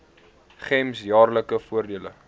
gems jaarlikse voordele